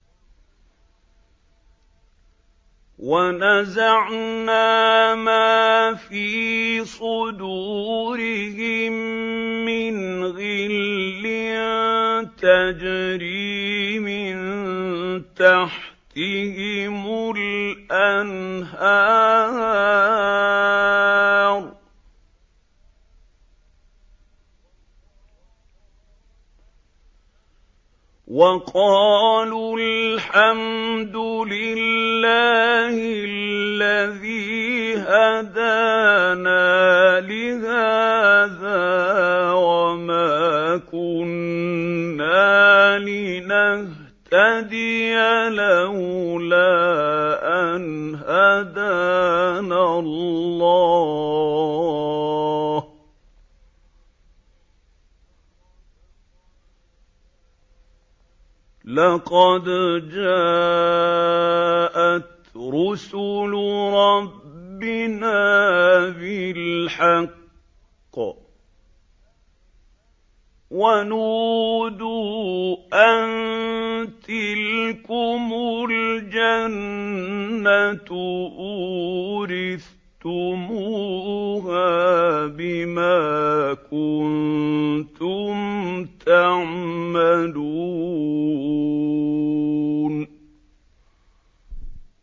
وَنَزَعْنَا مَا فِي صُدُورِهِم مِّنْ غِلٍّ تَجْرِي مِن تَحْتِهِمُ الْأَنْهَارُ ۖ وَقَالُوا الْحَمْدُ لِلَّهِ الَّذِي هَدَانَا لِهَٰذَا وَمَا كُنَّا لِنَهْتَدِيَ لَوْلَا أَنْ هَدَانَا اللَّهُ ۖ لَقَدْ جَاءَتْ رُسُلُ رَبِّنَا بِالْحَقِّ ۖ وَنُودُوا أَن تِلْكُمُ الْجَنَّةُ أُورِثْتُمُوهَا بِمَا كُنتُمْ تَعْمَلُونَ